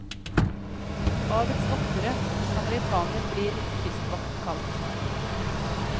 Havets voktere og samaritaner blir kystvakten kalt.